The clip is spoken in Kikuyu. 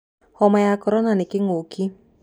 Homa ya korona nĩ kĩng'ũki